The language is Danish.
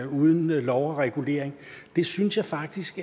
uden lov og regulering jeg synes faktisk